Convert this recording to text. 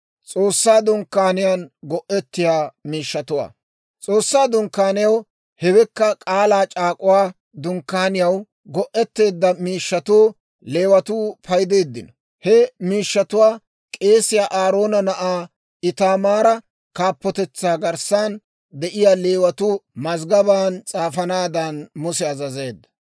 S'oossaa Dunkkaaniyaw, hewekka K'aalaa c'aak'uwaa Dunkkaaniyaw, go'etteedda miishshatuwaa Leewatuu paydeeddinno. He miishshatuwaa k'eesiyaa Aaroona na'aa Itaamaara kaappotetsaa garssan de'iyaa Leewatuu mazggabaan s'aafanaadan Muse azazeedda.